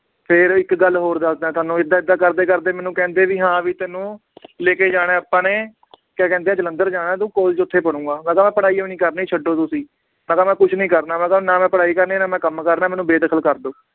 ਫੇਰ ਇੱਕ ਗੱਲ ਹੋਰ ਦੱਸਦਾਂ ਤੁਹਾਨੂੰ ਏਦਾਂ ਏਦਾਂ ਕਰਦੇ ਕਰਦੇ ਮੈਨੂੰ ਕਹਿੰਦੇ ਵੀ ਹਾਂ ਵੀ ਤੈਨੂੰ ਲੈਕੇ ਜਾਣਾ ਹੈ ਆਪਾਂ ਨੇ ਕਿਆ ਕਹਿੰਦੇ ਹੈ ਜਲੰਧਰ ਜਾਣਾ ਤੂੰ college ਓਥੇ ਪੜੂੰਗਾ ਮੈ ਕਿਹਾ ਮੈ ਪੜ੍ਹਾਈ ਹੋਈ ਨੀ ਕਰਨੀ ਛੱਡੋ ਤੁਸੀਂ, ਮੈ ਕਿਹਾ ਮੈ ਕੁਛ ਨੀ ਕਰਨਾ ਮੈ ਕਿਹਾ ਨਾ ਮੈ ਪੜ੍ਹਾਈ ਕਰਨੀ ਨਾ ਮੈ ਕੰਮ ਕਰਨਾ ਏ ਮੈਨੂੰ ਬੇਦਖਲ ਕਰਦੋ